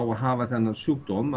að hafa þennan sjúkdóm